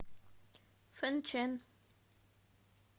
фэнчэн